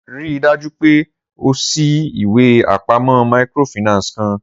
Rii daju pe o ṣii iwe apamọ microfinance kan!